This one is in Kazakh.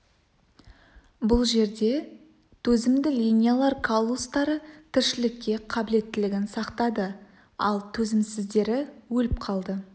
бұл жерде төзімді линиялар каллустары тіршілікке қабілеттілігін сақтады ал төзімсіздері өліп қалды